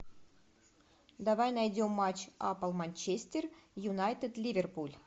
давай найдем матч апл манчестер юнайтед ливерпуль